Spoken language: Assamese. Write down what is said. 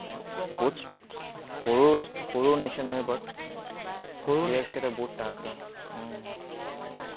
বহুত সৰু সৰু nation হয়, but players কেইটা বহুত তাগৰা।